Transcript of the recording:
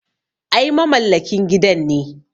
Ai mamallakin gidan ne.